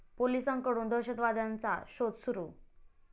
पोलिसांकडून दहशतवाद्यांचा शोध सुरु